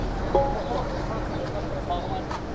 Mənə bax.